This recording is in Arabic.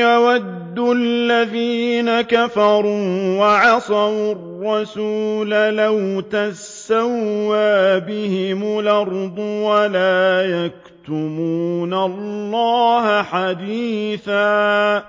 يَوَدُّ الَّذِينَ كَفَرُوا وَعَصَوُا الرَّسُولَ لَوْ تُسَوَّىٰ بِهِمُ الْأَرْضُ وَلَا يَكْتُمُونَ اللَّهَ حَدِيثًا